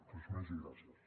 res més i gràcies